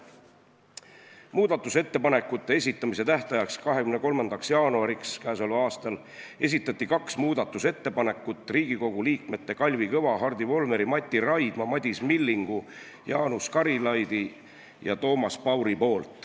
Muudatusettepanekute esitamise tähtajaks, 23. jaanuariks k.a esitasid kaks muudatusettepanekut Riigikogu liikmed Kalvi Kõva, Hardi Volmer, Mati Raidma, Madis Milling, Jaanus Karilaid ja Toomas Paur.